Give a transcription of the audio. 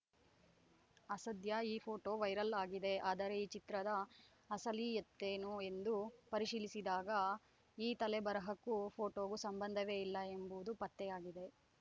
ಅಸದ್ಯ ಈ photo viral ಆಗಿದೆ ಆದರೆ ಈ ಚಿತ್ರದ ಅಸಲಿಯತ್ತೇನು ಎಂದು ಪರಿಶೀಲಿಸಿದಾಗ ಈ ತಲೆಬರಹಕ್ಕೂ ಫೋಟೋಗೂ ಸಂಬಂಧವೇ ಇಲ್ಲ ಎಂಬುದು ಪತ್ತೆಯಾಗಿದೆ